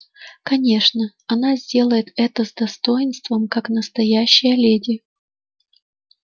конечно она сделает это с достоинством как настоящая леди